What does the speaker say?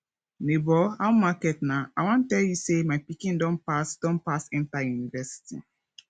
nebor how market na i wan tell you sey my pikin don pass don pass enta university